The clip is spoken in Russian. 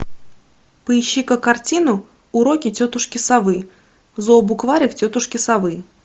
поищи ка картину уроки тетушки совы зообукварик тетушки совы